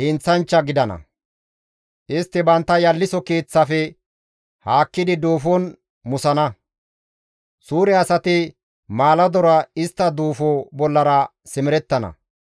heenththanchcha gidana; istti bantta yalliso keeththafe haakkidi duufon musana. Suure asati maaladora istta duufo bollara simerettana.